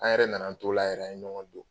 An yɛrɛ nan'an t'o la yɛrɛ, an ye ɲɔgɔn do